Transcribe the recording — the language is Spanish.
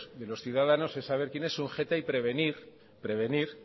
de los ciudadanos es saber quién es un jeta y prevenir